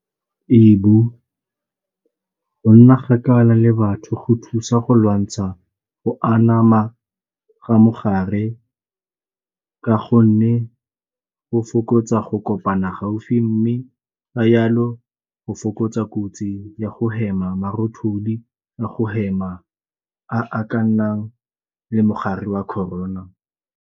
Ee, go nna kgakala le batho go thusa go lwantsha go anama ga mogare ka gonne go fokotsa tsa go kopana gaufi mme la yalo go fokotsa kotsi ya go hema, marothodi a go hema a ka nnang le mogare wa Corona.